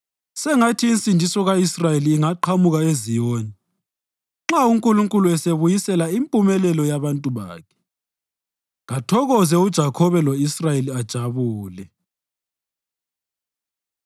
Sengathi insindiso ka-Israyeli ingaqhamuka eZiyoni! Nxa uNkulunkulu esebuyisela impumelelo yabantu bakhe, kathokoze uJakhobe lo-Israyeli ajabule!